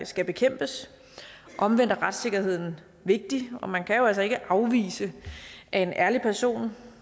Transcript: skal bekæmpes omvendt er retssikkerheden vigtig og man kan jo altså ikke afvise at en ærlig person